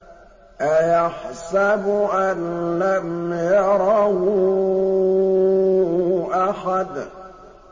أَيَحْسَبُ أَن لَّمْ يَرَهُ أَحَدٌ